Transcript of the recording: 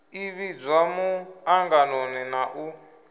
ḓi vhidzwa muṱanganoni na u